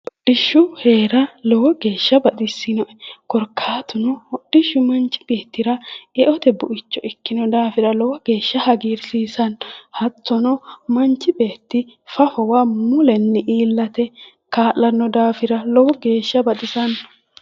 Hodhishsha heera lowo geeshsha baxissinoe. Korkaatuno hodhishshu manchi beettira eote buicho ikkino daafira lowo geeshsha hagiirsiisanno. Hattono manchi beetti fafowa mulenni iillate kaa'lanno daafira lowo geeshsha baxisanno.